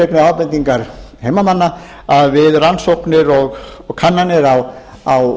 einnig ábendingar heimamanna að við rannsóknir og kannanir á